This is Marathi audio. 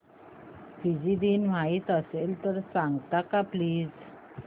फिजी दिन माहीत असेल तर सांगाल का प्लीज